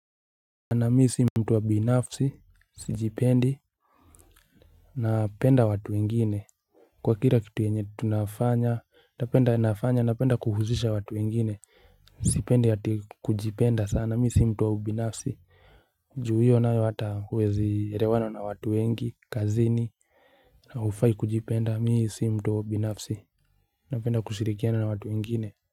Ana misi mtuwa binafsi, sijipendi Napenda watu wengine Kwa kila kitu yenye tunafanya, napenda nafanya, napenda kuhusisha watu wengine Sipendi ati kujipenda sana, mi si mtu wa ubinafsi Ju hiyo nayo ata huwezierewana na watu wengi, kazini na hufai kujipenda, mi si mtu wa ubinafsi Napenda kushirikiana na watu wengine.